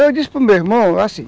Eu disse para o meu irmão, assim,